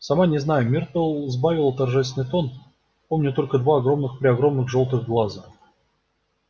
сама не знаю миртл сбавила торжественный тон помню только два огромных-преогромных жёлтых глаза